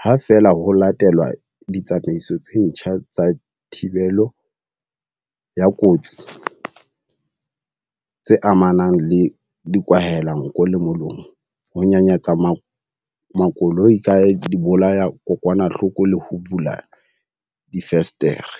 ha feela ho latelwa ditsamaiso tse ntjha tsa thibelo ya kotsi tse amanang le dikwahelanko le molomo, ho nyanyatsa makoloi ka dibolayadikokwanahloko le ho bula difenstere.